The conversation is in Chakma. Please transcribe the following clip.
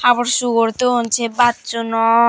habor sugor don se bajonot.